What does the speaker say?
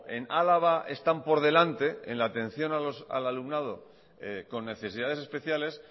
en álava están por delante en la atención al alumnado con necesidades especiales